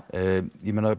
ég meina